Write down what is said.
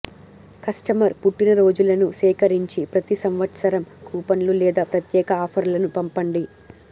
customer పుట్టినరోజులను సేకరించి ప్రతి సంవత్సరం కూపన్లు లేదా ప్రత్యేక ఆఫర్లను పంపండి